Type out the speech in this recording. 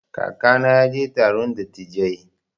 Kakana ya je taron dattijai.